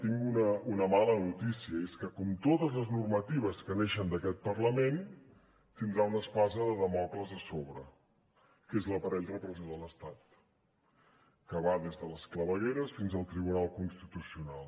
tinc una mala notícia i és que com totes les normatives que neixen d’aquest parlament tindrà una espasa de dàmocles a sobre que és l’aparell repressiu de l’estat que va des de les clavegueres fins al tribunal constitucional